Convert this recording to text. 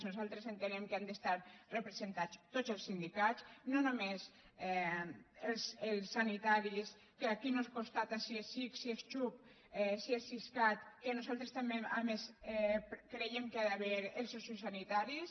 nosaltres ente·nem que hi han d’estar representats tots els sindicats no només els sanitaris que aquí no es constata si és ics si és xhup si és siscat que nosaltres també a més creiem que hi ha d’haver els sociosanitaris